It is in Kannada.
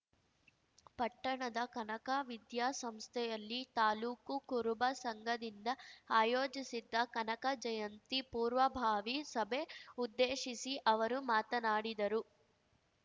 ಪಟ್ಟಣದ ಕನಕ ವಿದ್ಯಾಸಂಸ್ಥೆಯಲ್ಲಿ ತಾಲೂಕು ಕುರುಬ ಸಂಘದಿಂದ ಆಯೋಜಿಸಿದ್ದ ಕನಕ ಜಯಂತಿ ಪೂರ್ವಭಾವಿ ಸಭೆ ಉದ್ದೇಶಿಸಿ ಅವರು ಮಾತನಾಡಿದರು